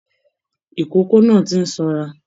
Ikòkò náà tí n sanra.